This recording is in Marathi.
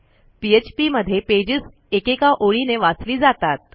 phpमध्ये पेजेस एकेका ओळीने वाचली जातात